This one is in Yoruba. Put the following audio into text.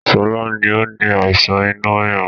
Sọlá ni ó ní àìsàn inú rírun